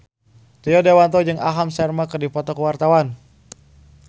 Rio Dewanto jeung Aham Sharma keur dipoto ku wartawan